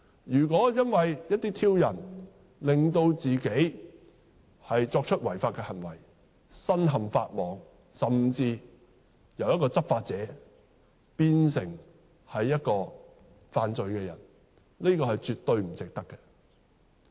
如果因為一些挑釁而令自己作出違法行為，身陷法網，甚至由執法者變成犯罪的人，這是絕對不值得的。